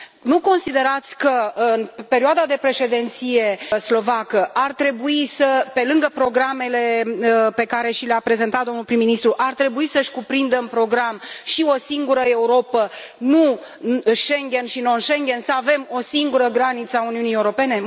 Nu considerați că perioada de președinție slovacă ar trebui, pe lângă programele pe care și le a prezentat domnul prim ministru, să cuprindă în program și o singură Europă, nu Schengen și non Schengen, să avem o singură granița a Uniunii Europene?